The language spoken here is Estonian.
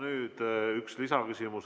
Nüüd üks lisaküsimus.